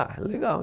Ah, legal.